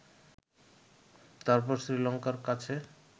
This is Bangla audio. তারপর শ্রীলঙ্কার কাছে